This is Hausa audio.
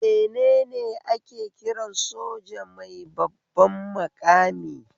Menene ake kiran soja mai babban maƙami?